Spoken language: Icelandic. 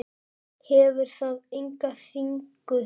Hefur það enga þýðingu?